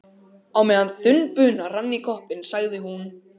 Og á meðan þunn bunan rann í koppinn, sagði hún